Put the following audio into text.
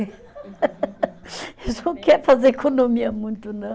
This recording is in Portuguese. Eles não quer fazer economia muito não.